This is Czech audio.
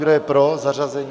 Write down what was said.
Kdo je pro zařazení?